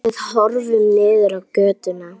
Við horfum niður í götuna.